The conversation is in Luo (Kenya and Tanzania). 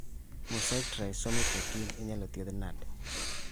Mosaic trisomy 14 inyalo thiedhi nade